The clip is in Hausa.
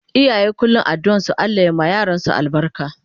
Iyaye kullum addu'an su Allah ya ma yaransu albarka